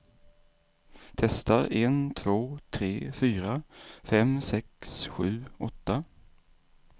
Testar en två tre fyra fem sex sju åtta.